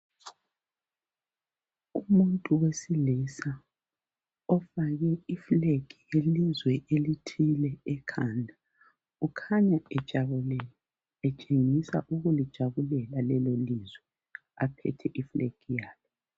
Umuntu wesilisa ofake iflag yelizwe elithile ekhanda .Ukhanya ejabulile, etshengisa ukulijabulela leli ilizwe aphethi flag yalo.